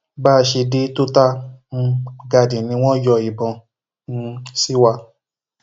bá a ṣe dé total um garden ni wọn yọ ìbọn um sí wa